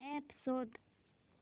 app शोध